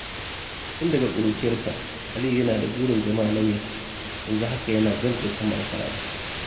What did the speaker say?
Tun daga ƙuruciyarsa, Aliyu yana da burin zama lauya, yanzu haka yana gab da kammala karatu.